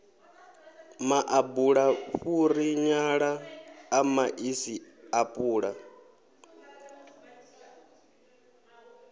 maḓabula fhuri nyala ṱamaṱisi apula